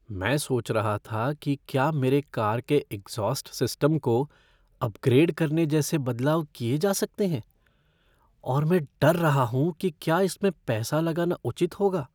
मैं सोच रहा था कि क्या मेरे कार के एग्ज़ॉस्ट सिस्टम को अपग्रेड करने जैसे बदलाव किए जा सकते हैं और मैं डर रहा हूँ कि क्या इसमें पैसा लगाना उचित होगा।